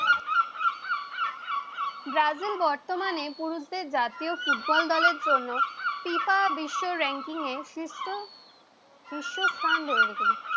Brazil বর্তমানে পুরুষদের জাতীয় ফুটবল দলের জন্য ফিফা বিশ্ব ranking এ শীর্ষ শীর্ষস্থান ধরে রেখেছে।